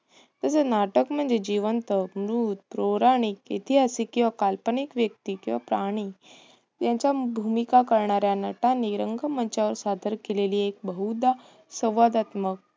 तसेच नाटक म्हणजे जिवंत, मृत, पौराणिक, ऐतिहासिक किंवा काल्पनिक व्यक्ती किंवा प्राणी यांच्या भूमिका करणाऱ्या नटांनी रंगमंचावर सादर केलेली एक बहुदा संवादात्मक